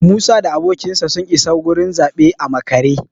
Musa da abokinsa sun isa gurin zaɓe a makare